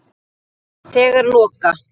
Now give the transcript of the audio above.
Þegar loka